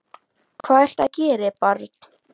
Hvað viltu að ég geri, barn?